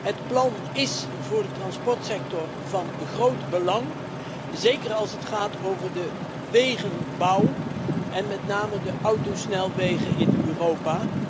Het plan is voor de transportsector van groot belang, zeker als het gaat over de wegenbouw en met name de autosnelwegen in Europa.